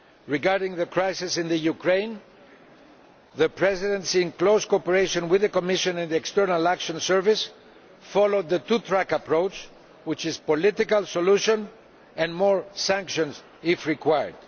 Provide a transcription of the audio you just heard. Regarding the crisis in Ukraine, the Presidency, in close cooperation with the Commission and the External Action Service, followed the two track approach, which is a political solution and more sanctions if required.